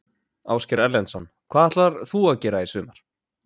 Ásgeir Erlendsson: Hvað ætlar þú að gera í sumar?